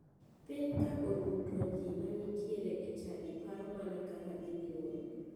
Piny ka oru to ji manitiere e chadi paro mana kaka gidhi romo.